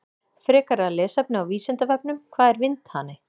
Frekara lesefni á Vísindavefnum: Hvað er vindhani?